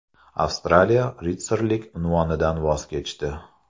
Avstraliya ritsarlik unvonidan voz kechdi.